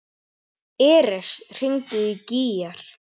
Eres, hringdu í Gígjar.